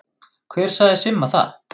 Hver sagði Simma það?